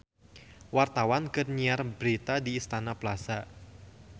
Wartawan keur nyiar berita di Istana Plaza